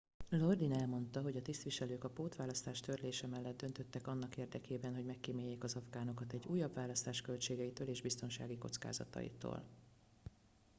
lodin elmondta hogy a tisztviselők a pótválasztás törlése mellett döntöttek annak érdekében hogy megkíméljék az afgánokat egy újabb választás költségeitől és biztonsági kockázataitól